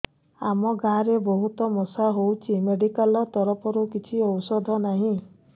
ଆମ ଗାଁ ରେ ବହୁତ ମଶା ହଉଚି ମେଡିକାଲ ତରଫରୁ କିଛି ଔଷଧ ନାହିଁ